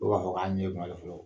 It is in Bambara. O bɛ k'a fɔ k'a ɲɛ ganlen de fɔlɔ.